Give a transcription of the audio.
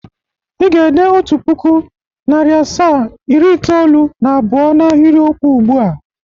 I ga-ede Otu puku, nari asaa, iri itoolu na abụo n'ahiriokwu ugbu a!